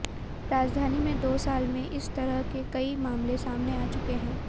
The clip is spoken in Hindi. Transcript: राजधानी में दो साल में इस तरह के कई मामले सामने आ चुके हैं